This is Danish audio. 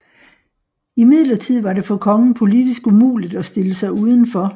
Imidlertid var det for kongen politisk umuligt at stille sig uden for